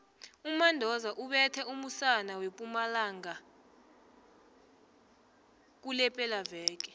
umandoza ubethe umusana wempumalanga kulephelaveke